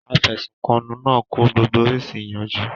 Afẹ̀sùnkanni náà kọ gbogbo oríṣi ìyànjú.